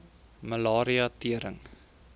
malaria tering